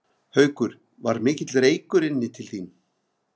Haukur: Var mikill reykur inn til þín?